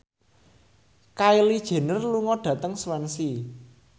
Kylie Jenner lunga dhateng Swansea